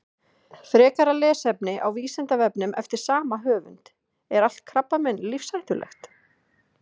Frekara lesefni á Vísindavefnum eftir sama höfund: Er allt krabbamein lífshættulegt?